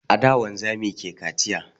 A da wanzami ke kaciya